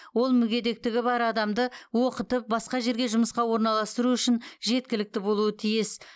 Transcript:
ол мүгедектігі бар адамды оқытып басқа жерге жұмысқа орналастыру үшін жеткілікті болуы тиіс